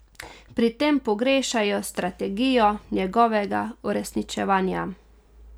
Pri tem pogrešajo strategijo njegovega uresničevanja.